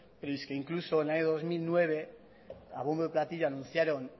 y es que incluso en el año dos mil nueve a bombo y platillo anunciaron